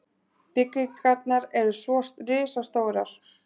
Byggingarnar eru svo risastórar.